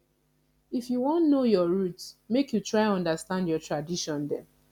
if you wan know your root make you try understand your tradition dem